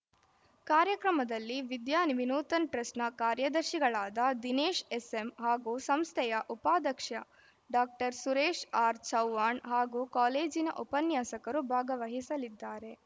ಕಾರ್ಯಕ್ರಮದಲ್ಲಿ ವಿದ್ಯಾ ವಿನೂತನ ಟ್ರಸ್ಟ್‌ನ ಕಾರ್ಯದರ್ಶಿಗಳಾದ ದಿನೇಶ್‌ ಎಸ್‌ಎಮ್‌ ಹಾಗೂ ಸಂಸ್ಥೆಯ ಉಪಾಧಕ್ಷ್ಯ ಡಾಕ್ಟರ್ ಸುರೇಶ್‌ ಆರ್‌ ಚೌವ್ಹಾಣ್‌ ಹಾಗೂ ಕಾಲೇಜಿನ ಉಪನ್ಯಾಸಕರು ಭಾಗವಹಿಸಲಿದ್ದಾರೆ